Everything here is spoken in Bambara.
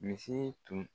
Misi tun